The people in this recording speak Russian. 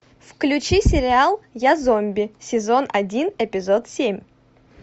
включи сериал я зомби сезон один эпизод семь